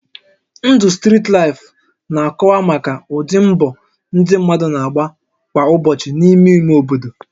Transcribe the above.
Ndụ strit laịfụ na-akọwa maka ụdị mbọ ndị mmadụ na-agba kwa ụbọchị n'ime ime obodo